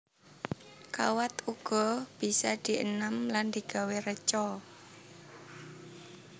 Kawat uga bisa dienam lan digawé reca